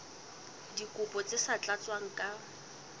dikopo tse sa tlatswang ka